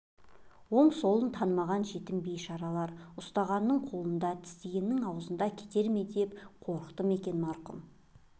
оң-солын танымаған жетім бейшаралар ұстағанның қолында тістегеннің аузында кетер ме деп қорықты ма екен марқұм